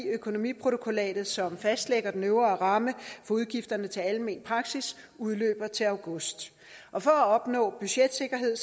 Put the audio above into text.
økonomiprotokollatet som fastlægger den øvre ramme for udgifterne til almen praksis udløber til august og for at opnå en budgetsikkerhed